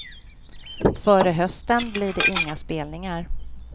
Före hösten blir det inga spelningar.